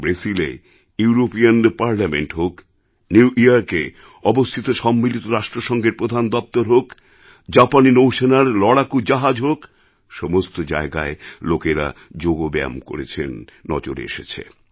ব্রেসিলএEuropean parliament হোক new Yorkএ অবস্থিত সম্মিলিত রাষ্ট্রসঙ্ঘের প্রধান দপ্তর হোক জাপানী নৌসেনার লড়াকু জাহাজ হোক সমস্ত জায়গায় লোকেরা যোগ ব্যায়াম করছেন নজরে এসেছে